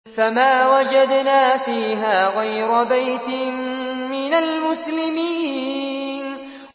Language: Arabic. فَمَا وَجَدْنَا فِيهَا غَيْرَ بَيْتٍ مِّنَ الْمُسْلِمِينَ